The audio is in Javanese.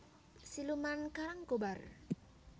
Siluman Karangkobar